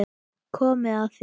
Komið að þér.